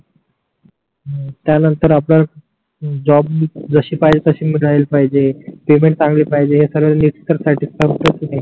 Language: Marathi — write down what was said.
त्या नंतर आपण जॉब जसी पाहिजे तसी राहली पाहिजे पेमेंट चांगले पाहिजे हे सगडे नेटकर साठी करता तुम्ही